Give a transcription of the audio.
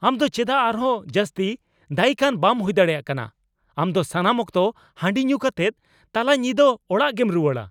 ᱟᱢ ᱫᱚ ᱪᱮᱫᱟᱜ ᱟᱨᱦᱚᱸ ᱡᱟᱹᱥᱛᱤ ᱫᱟᱹᱭᱤᱠ ᱟᱱ ᱵᱟᱢ ᱦᱩᱭ ᱫᱟᱲᱮᱭᱟᱜ ᱠᱟᱱᱟ ? ᱟᱢ ᱫᱚ ᱥᱟᱱᱟᱢ ᱚᱠᱛᱚ ᱦᱟᱹᱰᱤ ᱧᱩ ᱠᱟᱛᱮᱫ ᱛᱟᱞᱟ ᱧᱤᱫᱟᱹ ᱚᱲᱟᱜᱮᱢ ᱨᱩᱣᱟᱹᱲᱟ ᱾